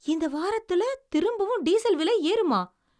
இந்த வாரத்தில திரும்பவும் டீசல் விலை ஏறுமா?